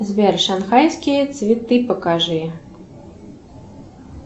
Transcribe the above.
сбер шанхайские цветы покажи